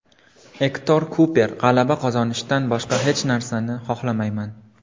Ektor Kuper: G‘alaba qozonishdan boshqa hech narsani xohlamayman.